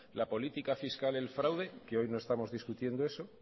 la política fiscal y el fraude que hoy no estamos discutiendo eso